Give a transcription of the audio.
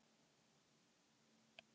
Hafbjörg, hækkaðu í hátalaranum.